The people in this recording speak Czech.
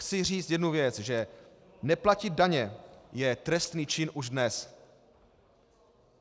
Chci říct jednu věc, že neplatit daně je trestný čin už dnes.